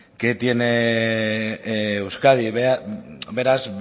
que tiene euskadi beraz